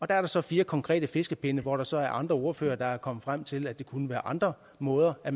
der er der så fire konkrete fiskepinde hvor der så er andre ordførere der er kommet frem til at der kunne være andre måder at